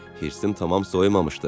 Hirsim tamam soymamışdı.